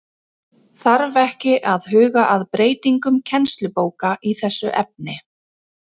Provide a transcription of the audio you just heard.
Þarf ekki að huga að breytingum kennslubóka í þessu efni?